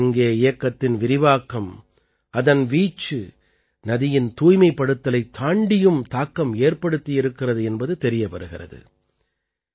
நமாமி கங்கே இயக்கத்தின் விரிவாக்கம் அதன் வீச்சு நதியின் தூய்மைப்படுத்தலைத் தாண்டியும் தாக்கம் ஏற்படுத்தியிருக்கிறது என்பது தெரிய வருகிறது